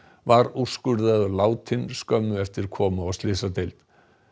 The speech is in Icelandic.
var úrskurðaður látinn skömmu eftir komu á slysadeild